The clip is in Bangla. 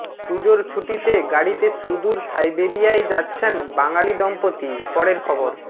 পুজোর ছুটিতে গাড়িতে সুদূর সাইবেরিয়ায় যাচ্ছেন বাঙালি দম্পতি পরের খবর